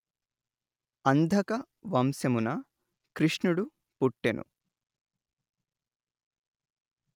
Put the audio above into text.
అంధక వంశమున కృష్ణుఁడు పుట్టెను